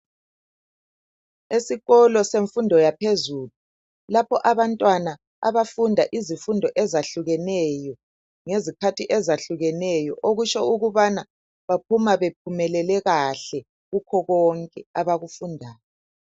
Esikolo semfundo yaphezulu lapho abantwana abafunda izifundo ezahlukeneyo. Ngezikhathi ezahlukeneyo okusho ukubana baphuma bephumelele kahle kukho konke abakufundayo.